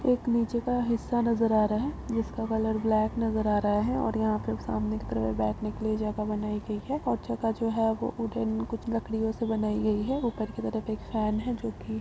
एक नीचे का हिस्सा नजर आ रहा ह जिसका कलर ब्लाक नजर आ रहा है और यहां पर सामने की तरह बैठने के लिए जगह बनाई गई है और जगह जो है वह कुछ लकड़ियों से बनाई गई है ऊपर की तरफ एक फेन है जोकि -